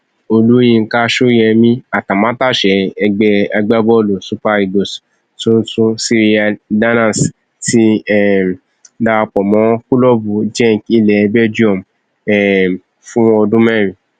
olùyinka sóyemí atamátàsé ẹgbẹ agbábọọlù super eagles tuntun cyriel danners ti um darapọ mọ kílọọbù genk ilẹ belgium um fún ọdún mẹrin